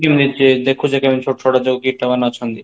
ସେ ଦେଖୁଯେ କେମିତି ଛୋଟ ଛୋଟ କୀଟମାନେ ଅଛନ୍ତି